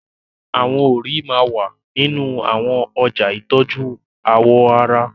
Awọn òrí máà wà ninu awọn ọja itọju awọ ara